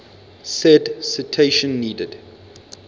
said citation needed